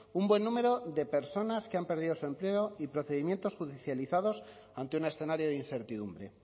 un buen número de personas que han perdido su empleo y procedimientos judicializados ante un escenario de incertidumbre